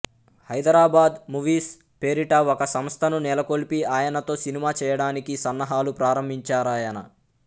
Hyderabad movies పేరిట ఒక సంస్థను నెలకొల్పి ఆయనతో సినిమా చేయడానికి సన్నాహాలు ప్రారంభించారాయన